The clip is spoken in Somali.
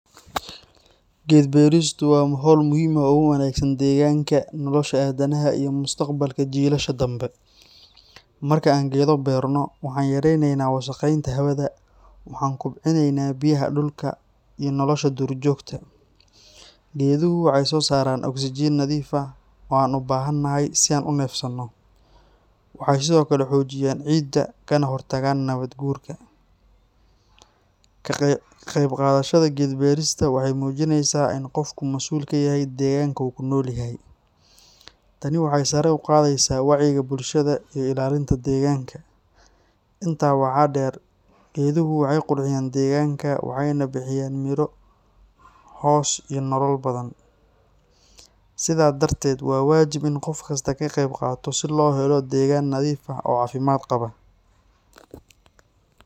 Geed beeristu waa hawl muhiim ah oo u wanaagsan deegaanka, nolosha aadanaha, iyo mustaqbalka jiilasha dambe. Marka aan geedo beerno, waxaan yaraynaynaa wasakheynta hawada, waxaan kobcinaynaa biyaha dhulka iyo nolosha duurjoogta. Geeduhu waxay soo saaraan oksijiin nadiif ah oo aan u baahanahay si aan u neefsanno. Waxay sidoo kale xoojiyaan ciidda, kana hortagaan nabaad guurka. Ka qaybqaadashada geed beerista waxay muujinaysaa in qofku masuul ka yahay deegaanka uu ku nool yahay. Tani waxay sare u qaadaysaa wacyiga bulshada iyo ilaalinta deegaanka. Intaa waxaa dheer, geeduhu waxay qurxiyaan deegaanka, waxayna bixiyaan midho, hoos iyo nolol badan. Sidaa darteed, waa waajib in qof kasta ka qaybqaato si loo helo deegaan nadiif ah oo caafimaad qaba.